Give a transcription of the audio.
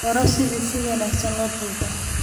Baro sida si wanaagsan loo duubo.